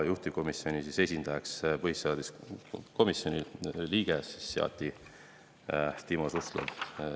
Juhtivkomisjoni esindajaks seati põhiseaduskomisjoni liige Timo Suslov.